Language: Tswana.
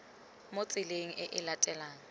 mo tseleng e e latelanang